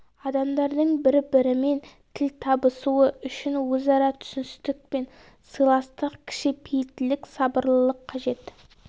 адамдардың бір-бірімен тіл табысуы үшін өзара түсіністік пен сыйластық кішіпейілділік сабырлылық қажет